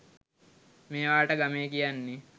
මේවාට ගමේ කියන්නේ